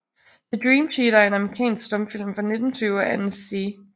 The Dream Cheater er en amerikansk stumfilm fra 1920 af Ernest C